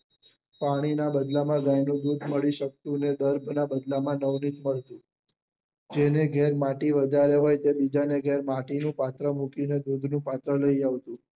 પાણી ના બદલા માં મળી શકતું ને જેને ઘેર માટી વધારે હોય એ બીજા ને ઘરે માટી નું પાત્ર મૂકી ને નું પાત્ર લઇ આવતું